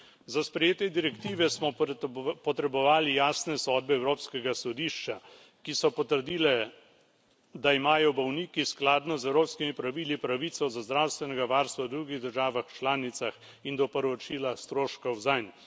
Za sprejetje direktive smo potrebovali jasne sodbe Evropskega sodišča, ki so potrdile, da imajo bolniki skladno z evropskimi pravili pravico do zdravstvenega varstva v drugih državah članicah in do povračila stroškov zanj.